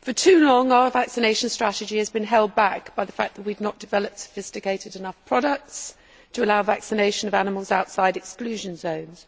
For too long, our vaccination strategy has been held back by the fact that we have not developed sophisticated enough products to allow vaccination of animals outside exclusion zones.